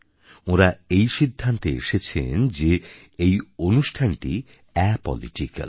ওঁরা এই সিদ্ধান্তে এসেছেন যে এই অনুষ্ঠানটি অ্যাপলিটিক্যাল